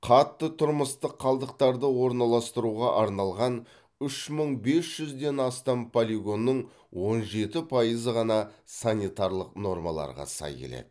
қатты тұрмыстық қалдықтарды орналастыруға арналған үш мың бес жүзден астам полигонның он жеті пайызы ғана санитарлық нормаларға сай келеді